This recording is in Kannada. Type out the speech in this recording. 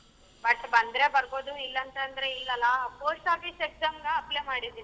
But ಬಂದ್ರೆ ಬರಬೋದು ಇಲ್ಲ ಅಂತಂದರೆ ಇಲ್ಲ ಅಲ್ಲ post office exam ಗ apply ಮಾಡಿದೀನಿ.